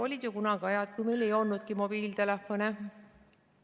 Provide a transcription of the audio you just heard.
Olid kunagi ajad, kui meil ei olnudki mobiiltelefone ...